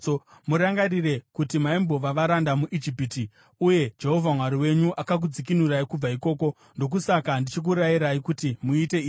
Murangarire kuti maimbova varanda muIjipiti uye Jehovha Mwari wenyu akakudzikinurai kubva ikoko. Ndokusaka ndichikurayirai kuti muite izvi.